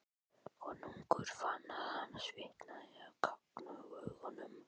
Konungur fann að hann svitnaði á gagnaugunum.